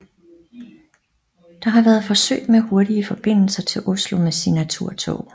Der har været forsøg med hurtige forbindelse til Oslo med Signaturtog